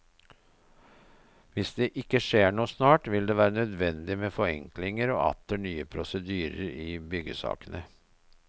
Hvis det ikke skjer noe snart, vil det være nødvendig med forenklinger og atter nye prosedyrer i byggesakene.